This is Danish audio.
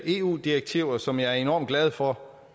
eu direktiver som jeg er enormt glad for